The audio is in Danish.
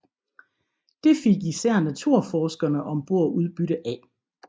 Det fik især naturforskerne om bord udbytte af